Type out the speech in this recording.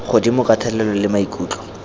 godimo ka thelelo le maikutlo